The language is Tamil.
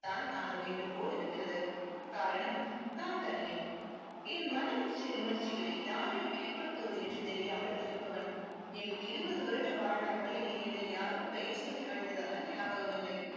தான் ஆக வேண்டும் போல் இருக்கிறது. காரணம் நான் தனியன். என் மனம் உணர்ச்சிகளை யாரிடம் வெளிப்படுத்துவது என்று தெரியாமல் தவிப்பவன். என் இருபது வருட வாழ்நாட்களில் என்னை யாரும் பெயர் சொல்லி அழைத்ததாக ஞாபகம் இல்லை.